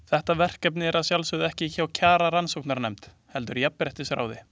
Þetta verkefni er að sjálfsögðu ekki hjá Kjararannsóknarnefnd, heldur hjá Jafnréttisráði.